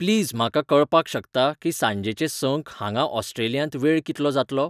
Please म्हाका कळपाक शकता की सांजेचे सं क हांगाऑस्ट्रेलियांत वेळ कितलो जातलो?